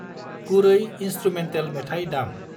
गुरै इनस्त्रुमेन्टेल मेथाइ दामI